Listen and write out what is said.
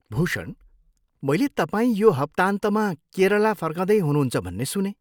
भूषण, मैले तपाईँ यो हप्तान्तमा केरला फर्कँदै हुनुहुन्छ भन्ने सुनेँ।